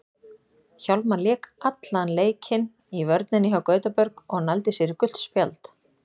Hjálmar lék allan leikinn í vörninni hjá Gautaborg og nældi sér í gult spjald.